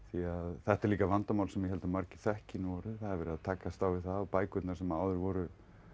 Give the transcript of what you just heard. þetta er líka vandamál sem ég held að margir þekki nú orðið það er verið að takast á við það að bækurnar sem áður voru